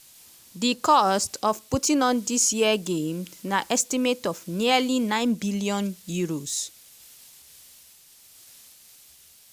di cost of putting on dis year games na estimate of nearly nine billion euros